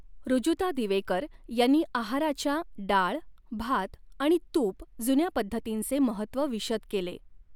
ऋजूता दिवेकर यांनी आहाराच्या डाळ, भात आणि तूप जुन्या पद्धतींचे महत्व विशद केले.